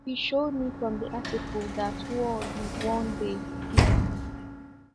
He showed me from the Article that wars would one day cease.